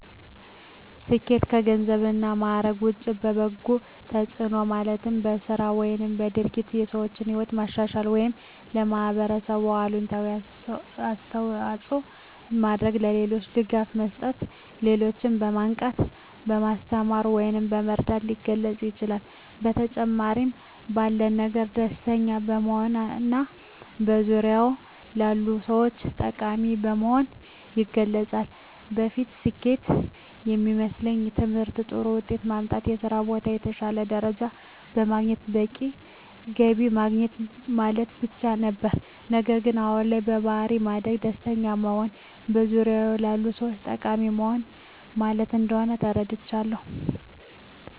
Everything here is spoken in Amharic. ስኬት ከገንዘብ እና ማዕረግ ውጭ በበጎ ተጽዕኖ ማለትም በሥራ ወይም በድርጊት የሰዎችን ሕይወት ማሻሻል ወይም ለኅብረተሰብ አዎንታዊ አስተዋፅዖ በማድረግ፣ ለሌሎች ድጋፍ መስጠት፣ ሌሎችን በማንቃት፣ በማስተማር ወይም በመርዳት ሊገለፅ ይችላል። በተጨማሪም ባለን ነገር ደስተኛ በመሆንና በዙሪያዎ ላሉ ሰዎች ጠቃሚ በመሆን ይገለፃል። በፊት ስኬት የሚመስለኝ በትምህርት ጥሩ ውጤት ማምጣት፣ በስራ ቦታ የተሻለ ደረጃ በማግኘት በቂ ገቢ ማግኘት ማለት ብቻ ነበር። ነገር ግን አሁን ላይ በባሕሪ ማደግ፣ ደስተኛ መሆንና በዙሪያዎ ላሉ ሰዎች ጠቃሚ መሆን ማለት እንደሆን ተረድቻለሁ።